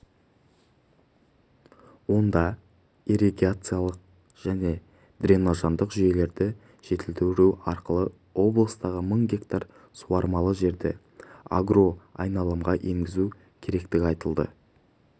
онда ирригациялық және дренаждық жүйелерді жетілдіру арқылы облыстағы мың гектар суармалы жерді агроайналымға енгізу керектігі айтылды